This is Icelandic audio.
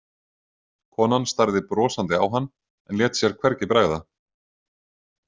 Konan starði brosandi á hann en lét sér hvergi bregða.